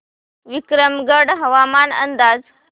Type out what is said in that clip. विक्रमगड हवामान अंदाज